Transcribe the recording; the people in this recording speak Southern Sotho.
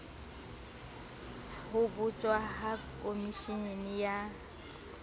ho botjwa ha komeshene ya